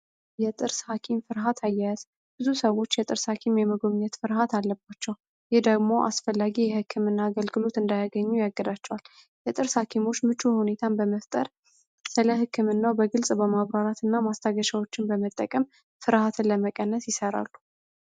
የጥርስ ሀኪም ፍርሀት አያያዝ ብዙ ሰዎች የጥርስ ሀኪም የመጎብኘት ፍርሀት አለባቸው ይህ ደግሞ አስፈላጊ የህክምና አገልግሎት እዳያገኙ የግዳቸዋል የጥርስ ሀኪሞች ምቹ ሁኔታን በመፍጠር ስለ ህክምናዉ በግልፅ በማብራራት ማስታገሻዎችን በመጠቀም ፍርሀትን ለመቀነስ ይሰራሉ